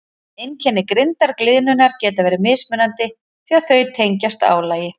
Einkenni grindargliðnunar geta verið mismunandi því að þau tengjast álagi.